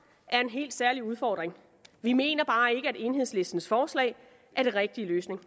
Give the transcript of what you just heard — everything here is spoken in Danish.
er en helt særlig udfordring vi mener bare ikke at enhedslistens forslag er den rigtige løsning